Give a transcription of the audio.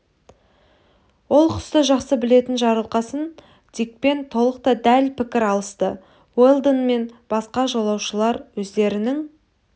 ол құсты жақсы білетін жарылқасын дикпен толық та дәл пікір алысты уэлдон мен басқа жолаушылар өздерінің